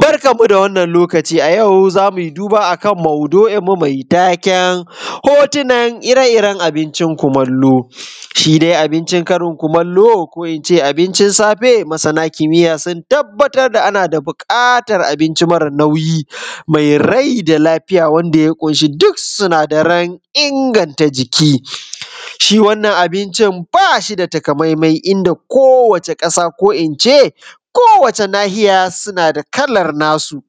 Barkanmu da wannn lokaci a yau zamui duba akan maudu’in mu mai taken hototunan ire-iren abincin kumalo. Shi dai abincin karin kumalo, ko ince abinci safe masana kimiya sun tabbatar da anada buƙatan abinci mare nauyi, mai rai da lafiya wanda ya ƙun shi duk sinadaran inganta jiki. Shi wannan abincin bashi da katamaimai inda kowace ƙasa, ko ince kowace nahiya suna da kalar nasu.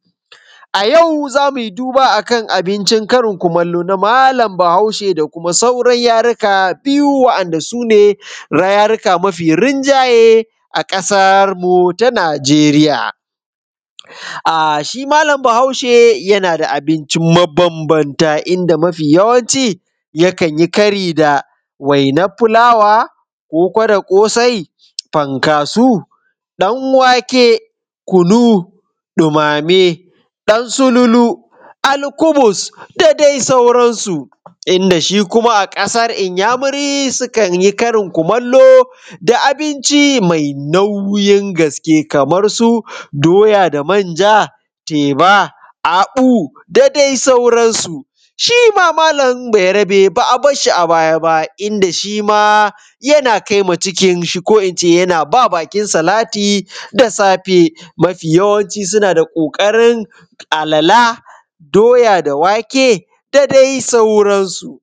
Ayau zamui duba akan abincin karin kumalo na malam Bahaushe da kuma sauran rayuwa biyu wa’inda su ne rayika mafi rinjaye a ƙasarmu ta Nijeriya. A shi malam Bahaushe yana da abinci mabambamta, inda mafi yawanci yakan yi kari da wainar fulawa, koko da ƙosai, fankaso, ɗan wake, kunu, ɗumame, dan sululu, alkubus, da dai sauransu. Inda shi kuma a kasan inyamuri su kan yi karin kumalo da abinci mai nauyin gaske, kamar su doya da manja, teba, abu,, da dai sauran su. Shima malam Bayarbe ba a barshi a baya ba inda shima yana kaima cikin shi ko ince yana ba bakin salati da safe, mafi yawanci suna da ƙoƙarin alala, doya da wake, da dai sauran su.